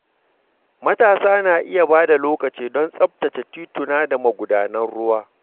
Matasa na iya ba da lokaci don tsaftace tituna da magudanan ruwa.